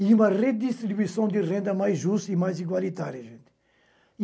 e uma redistribuição de renda mais justa e mais igualitária, gente.